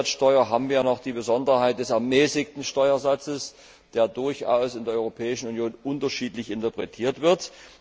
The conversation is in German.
Umsatzsteuer haben wir ja noch die Besonderheit des ermäßigten Steuersatzes, der in der Europäischen Union durchaus unterschiedlich interpretiert wird.